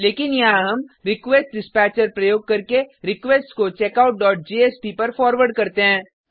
लेकिन यहाँ हम रिक्वेस्टडिस्पैचर प्रयोग करके रिक्वेस्ट को checkoutजेएसपी पर फॉरवर्ड करते हैं